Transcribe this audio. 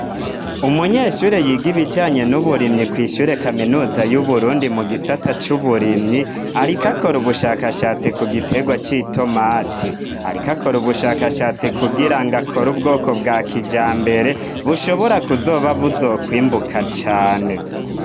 Umunyeshure yiga ibijanye n'uburimyi kw'ishure kaminuza y'uburundi mu gisata c'uburimyi arikakore ubushakashatsi ku giterwa c'i tomati arikakore ubushakashatsi kugira ngakora ubwoko bwa kija mbere bushobora kuzoba buzokwimbuka cane.